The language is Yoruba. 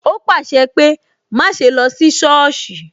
O pàṣẹ pé "má ṣe lọ sí sọ́ọ̀sì"